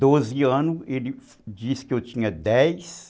doze anos, ele disse que eu tinha dez